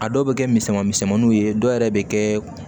A dɔw bɛ kɛ misɛnman misɛnmaninw ye dɔw yɛrɛ bɛ kɛ